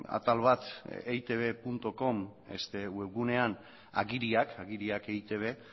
atal bat eitbcom webgunean agiriak agiriak eitb